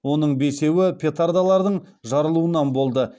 оның бесеуі петардалардың жарылуынан болды